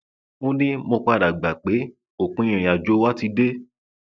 ó ní mo padà gbà pé òpin ìrìnàjò wa ti dé